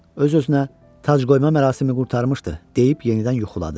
Öz-özünə tac qoyma mərasimi qurtarmışdı deyib yenidən yuxuladı.